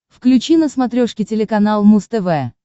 включи на смотрешке телеканал муз тв